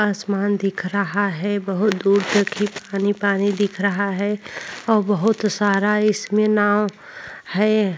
आसमान दिख रहा है। बहोत दूर तक ही पानी-पानी दिख रहा है और बहोत सारा इसमें नाव है।